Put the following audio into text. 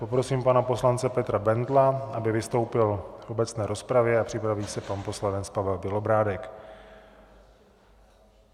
Poprosím pana poslance Petra Bendla, aby vystoupil v obecné rozpravě, a připraví se pan poslanec Pavel Bělobrádek.